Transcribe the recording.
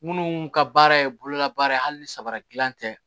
Minnu ka baara ye bololabaara ye hali ni saba dilan tɛ